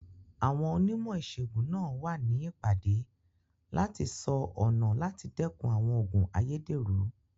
Àwọn onímọ̀ ìsègùn náà wà ní ìpàdé láti sọ ọ̀nà láti dẹ́kun àwọn òògùn ayédèrú.